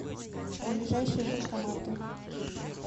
ближайшие банкоматы